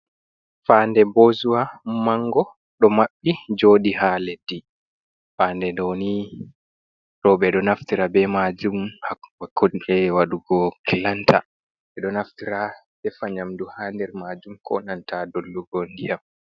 Fande bozuwa mango ɗo mabɓi joɗi ha leddi, fande ɗoni roɓe ɗo naftira be majum haakonde wadugo kilanta ɓeɗo naftira defa nyamdu ha nder majum, konanta dollugo ndiyam.